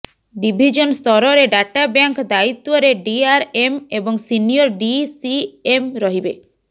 division ସ୍ତରରେ databank ଦାୟିତ୍ୱରେ DRM ଏବଂ ସିନିଅର ଡିସିଏମ୍ ରହିବେ